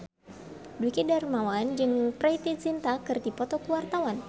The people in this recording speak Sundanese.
Dwiki Darmawan jeung Preity Zinta keur dipoto ku wartawan